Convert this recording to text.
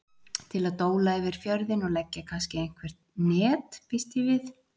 Til að dóla yfir fjörðinn og leggja kannski einhver net býst ég við.